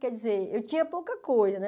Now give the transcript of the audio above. Quer dizer, eu tinha pouca coisa, né?